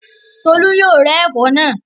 Tolú yóò rẹ́ ẹ̀fọ́ náà.